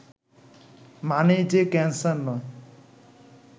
মানেই যে ক্যানসার নয়